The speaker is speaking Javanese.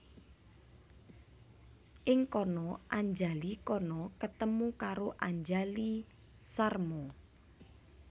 Ing kana Anjali Khana ketemu karo Anjali Sharma